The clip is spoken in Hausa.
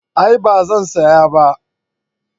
A'a ba zan saya ba